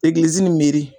Egilizi nin mi